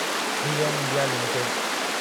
3एम India limited